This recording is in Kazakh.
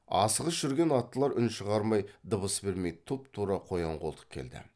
асығыс жүрген аттылар үн шығармай дыбыс бермей тұп тура қоян қолтық келді